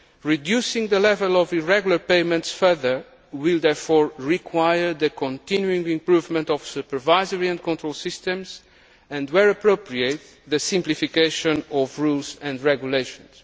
Reducing the level of irregular payments further will therefore require the continuing improvement of supervisory and control systems and, where appropriate, the simplification of rules and regulations.